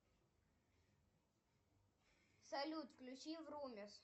салют включи врумис